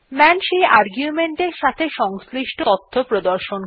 মান সেই আর্গুমেন্ট এর সাথে সংশ্লিষ্ট তথ্য প্রদর্শন করে